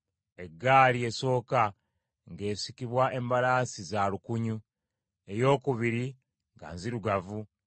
Eggaali esooka ng’esikibwa embalaasi za lukunyu, eyookubiri nga nzirugavu.